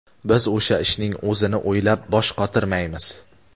biz o‘sha ishning o‘zini o‘ylab bosh qotirmaymiz.